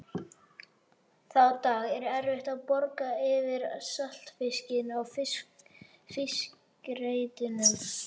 Þá daga er erfitt að bogra yfir saltfiski á fiskreitunum.